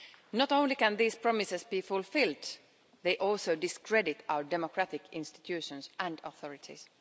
Not only can these promises not be fulfilled, they also discredit our democratic institutions and authorities.